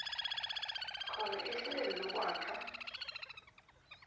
khona ehlelweni lokwakha